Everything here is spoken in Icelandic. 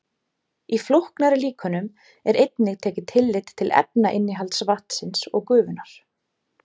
Í flóknari líkönum er einnig tekið tillit til efnainnihalds vatnsins og gufunnar.